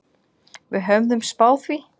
Við höfðum spáð því.